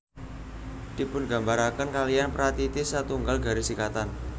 Dipungambaraken kaliyan pratitis satunggal garis ikatan